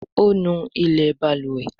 O nú ilé balùwẹ̀.